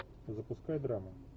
запускай драму